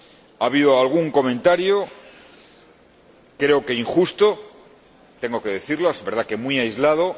Ha habido algún comentario, creo que injusto tengo que decirlo, es verdad que muy aislado